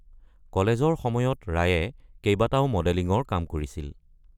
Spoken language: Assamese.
কলেজৰ সময়ত ৰায়ে কেইবাটাও মডেলিংৰ কাম কৰিছিল।